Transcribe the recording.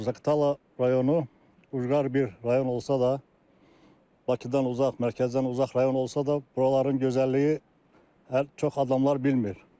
Zaqatala rayonu ucqar bir rayon olsa da, Bakıdan uzaq, mərkəzdən uzaq rayon olsa da, buraların gözəlliyi çox adamlar bilmir.